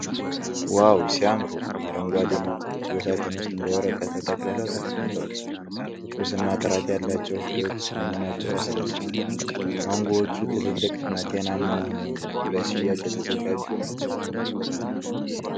ዋው ሲያምሩ ! አረንጓዴ ማንጎዎች በሳጥን ውስጥ በወረቀት ተጠቅልለው ተቀምጠዋል ። ትኩስ እና ጥራት ያላቸው ፍሬዎች መሆናቸው ያስደስታል። ማንጎዎቹ ትልልቅና ጤናማ ሆነው ለሽያጭ የተዘጋጁ ናቸው።